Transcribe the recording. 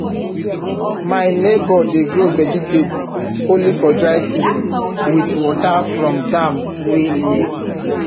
my neighbour dey grow vegetable only for dry season with water from dam wey near